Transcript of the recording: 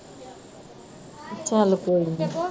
ਚੱਲ ਕੋਈ ਨੀ